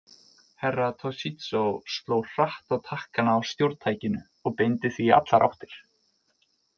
Herra Toshizo sló hratt á takkana á stjórntækinu og beindi því í allar áttir.